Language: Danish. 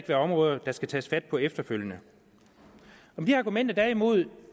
være områder der skal tages fat på efterfølgende med de argumenter der er imod